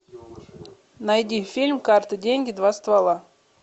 найди фильм карты деньги два ствола